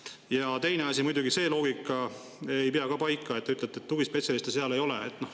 Ja teine asi: muidugi see loogika ei pea ka paika, et te ütlete, et tugispetsialiste seal ei ole.